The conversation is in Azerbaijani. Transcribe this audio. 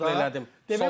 Dərhal müdaxilə elədim.